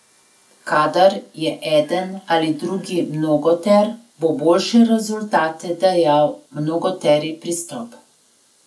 Kadar je eden ali drugi mnogoter, bo boljše rezultate dajal mnogoteri pristop.